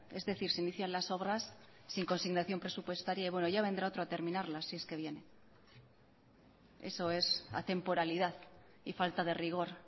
es decir se inician las obras sin consignación presupuestaria y yavendrá otro a terminarlas si es que viene eso es atemporalidad y falta de rigor